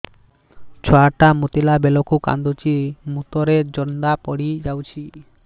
ଛୁଆ ଟା ମୁତିଲା ବେଳକୁ କାନ୍ଦୁଚି ମୁତ ରେ ଜନ୍ଦା ପଡ଼ି ଯାଉଛି